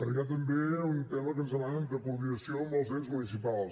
hi ha també un tema que ens demanen de coordinació amb els ens municipals